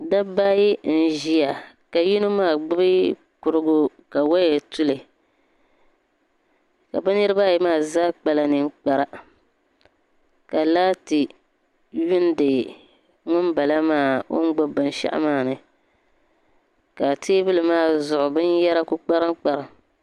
Dabba ayi n ʒia ka yino maa gbibi kurugu ka waya tuli ka bɛ niriba ayi maa zaa kpala niŋkpara ka laati yuuni ŋunbala maa o ni gbibi binshaɣu maa ni ka teebuli maa zuɣu binyera kuli kparim kparim.